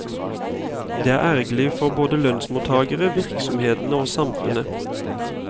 Det er ergerlig for både lønnsmottagerne, virksomhetene og samfunnet.